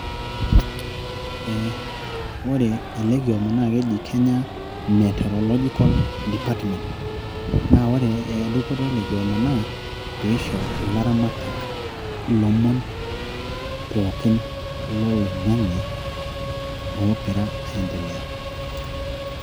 Ee ore ele kioma naa keji Kenya meteorological department naa ore e elekioma naa peisho ilaramatak ilomon pooki loloing'ange oogira aaendelea.